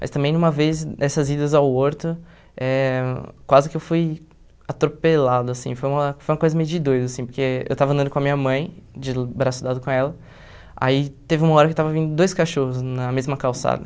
Mas também numa vez, nessas idas ao Horto, eh quase que eu fui atropelado, assim, foi uma foi uma coisa meio de doido, assim, porque eu estava andando com a minha mãe, de braço dado com ela, aí teve uma hora que estava vindo dois cachorros na mesma calçada.